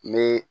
Me